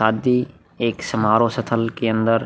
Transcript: आदि एक समारोह सथल के अंदर --